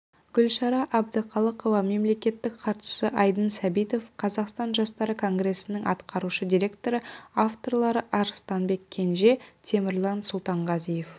гүлшара әбдіқалықова мемлекеттік хатшысы айдын сәбитов қазақстан жастары конгресінің атқарушы директоры авторлары арыстанбек кенже темірлан сұлтанғазиев